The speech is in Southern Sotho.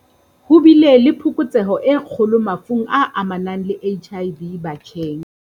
Ho bile le phokotseho e kgolo mafung a amanang le HIV batjheng.